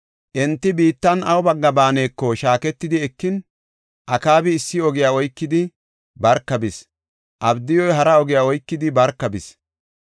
Enti biittan awu bagga baaneko shaaketidi ekin, Akaabi issi ogiya oykidi barka bis; Abdiyuy hara oge oykidi barka bis.